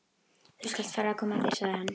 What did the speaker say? Þú skalt fara að koma þér, sagði hann.